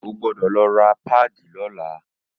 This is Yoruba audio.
O gbọ́dọ̀ lọ ra páàdì lọ́la!